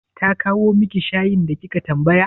Ta kawo miki shayin da kika tambaya?